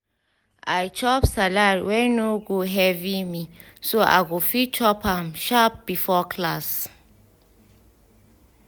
i chop salad wey no go heavy me so i go fit chop am sharp before class.